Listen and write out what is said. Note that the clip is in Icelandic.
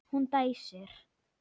Hún dæsir.